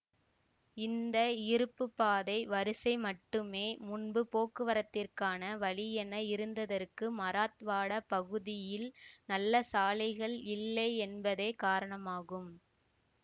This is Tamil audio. இந்த இருப்பு பாதை வரிசை மட்டுமே முன்பு போக்குவரத்திற்கான வழியென இருந்ததற்கு மராத்வாடா பகுதியில் நல்ல சாலைகள் இல்லை என்பதே காரணமாகும்